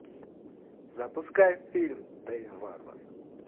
запускай фильм дэйв варвар